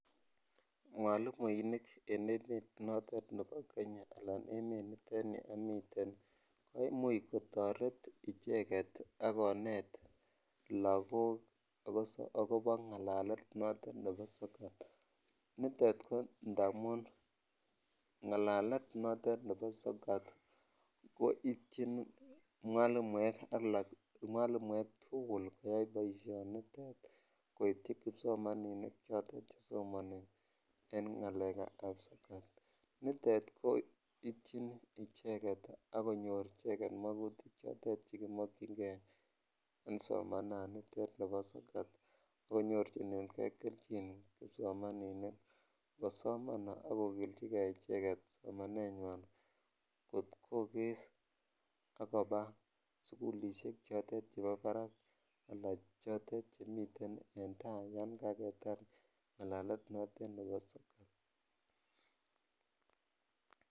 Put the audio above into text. mwalimuinik en emeet notet nebo kenya alan emeet nitet neomiten koimuch kotoret cheget agoneet lagook agobo ngalelet notoon nebo sokat, niteet ko ndamuun ngalelet noton nebo sokat koityin mwalimuek tugul koyaain boishonitete koityi kipsomaninik chotet chesomoni en ngaleek ab sokat, nitet koityin icheget ak konyoor icheget mogutik chotet chegimokyingee en somananitet nebo sokat, agonyorchinengee kelchiin kipsomaninik yesoman ak kogilchigee icheget somaneet nywaan kogees ak koba sugulishek chotet chegororon anan chotet chemiten en taa yoon ak yetaar anan anan notet nebo